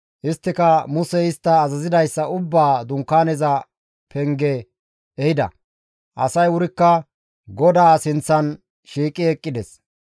Isttika Musey istta azazidayssa ubbaa Dunkaaneza penge ehida; asay wurikka GODAA sinththan shiiqi eqqides.